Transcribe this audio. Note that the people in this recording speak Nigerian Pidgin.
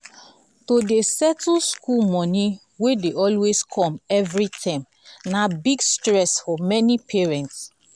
to dey settle school money wey dey always come every term na big stress for many parents.